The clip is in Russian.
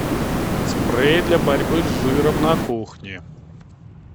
спрей для борьбы с жиром на кухне